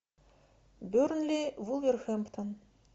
бернли вулверхэмптон